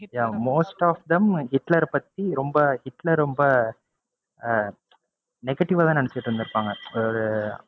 yeah most of them ஹிட்லர பத்தி ரொம்ப ஹிட்லர் ரொம்ப ஆஹ் negative ஆ தான் நினைச்சுட்டு இருந்துருப்பாங்க. அதாவது அஹ்